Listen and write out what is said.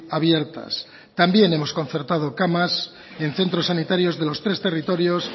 abiertas también hemos concertado camas en centros sanitarios de los tres territorios